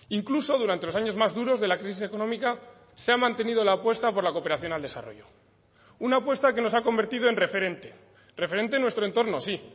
incluso durante los años más duros de la crisis económica se ha mantenido la apuesta por la cooperación al desarrollo una apuesta que nos ha convertido en referente referente nuestro entorno sí